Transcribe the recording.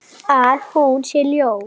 Grunað þetta?